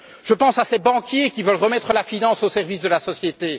Je pense à ces banquiers qui veulent remettre la finance au service de la société.